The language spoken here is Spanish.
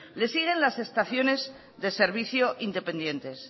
les siguen las estaciones de servicio independientes